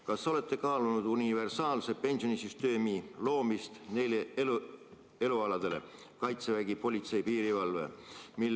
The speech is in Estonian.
Kas olete kaalunud universaalse pensionisüsteemi loomist neil elualadel: Kaitsevägi, politsei, piirivalve?